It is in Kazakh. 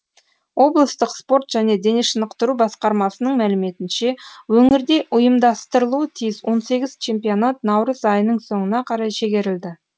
облыстық спорт және денешынықтыру басқармасының мәліметінше өңірде ұйымдастырылуы тиіс он сегіз чемпионат наурыз айының соңына қарай шегерілді